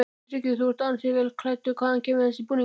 Tryggvi: Þú ert ansi vel klæddur, hvaðan kemur þessi búningur?